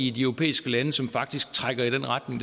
i de europæiske lande som faktisk trækker i den retning